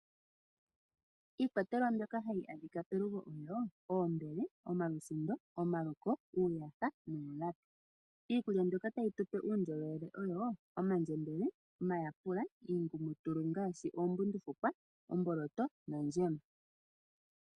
Iikwatelwa mbyoka hayi adhika pelugo oombele, oosindo, omalusindo, omaluko niikwawo. Iikulya mbyoka tupe uundjolowele momalutu oyo omandjembele, omayapula, iingumutulu ngaashi oombundufukwa, omboloto nondjema.